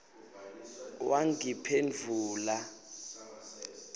wangiphendvula